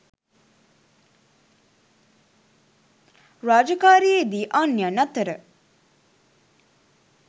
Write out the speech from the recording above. රාජකාරියේ දී අන්‍යයන් අතර